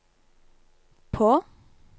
på